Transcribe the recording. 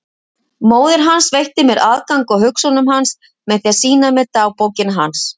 Móðir hans veitti mér aðgang að hugsunum hans með því að sýna mér dagbókina hans.